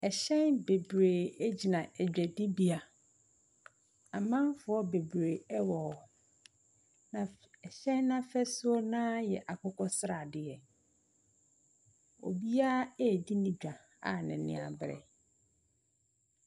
Hyɛn bebree gyina dwadibea. Amanfoɔ bebree wɔ hɔ, na mf hyɛn no afasuo no ara yɛ akokɔ sradeɛ. Obiara redi ne dwa a n'ani abere.